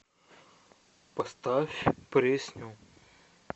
поставь пресню